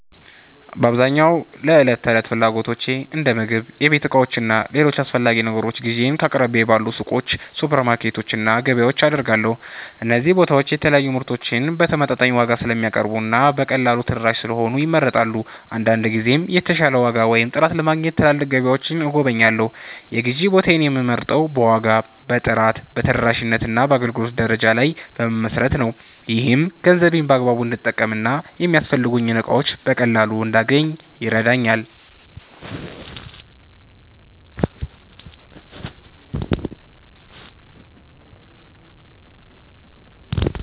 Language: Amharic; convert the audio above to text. በአብዛኛው ለዕለት ተዕለት ፍላጎቶቼ እንደ ምግብ፣ የቤት ዕቃዎች እና ሌሎች አስፈላጊ ነገሮች ግዢዬን ከአቅራቢያዬ ባሉ ሱቆች፣ ሱፐርማርኬቶች እና ገበያዎች አደርጋለሁ። እነዚህ ቦታዎች የተለያዩ ምርቶችን በተመጣጣኝ ዋጋ ስለሚያቀርቡ እና በቀላሉ ተደራሽ ስለሆኑ ይመረጣሉ። አንዳንድ ጊዜም የተሻለ ዋጋ ወይም ጥራት ለማግኘት ትላልቅ ገበያዎችን እጎበኛለሁ። የግዢ ቦታዬን የምመርጠው በዋጋ፣ በጥራት፣ በተደራሽነት እና በአገልግሎት ደረጃ ላይ በመመስረት ነው። ይህም ገንዘቤን በአግባቡ እንድጠቀም እና የሚያስፈልጉኝን እቃዎች በቀላሉ እንዳገኝ ይረዳኛል።